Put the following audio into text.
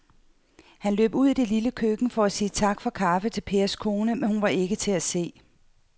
Han løb ud i det lille køkken for at sige tak for kaffe til Pers kone, men hun var ikke til at se.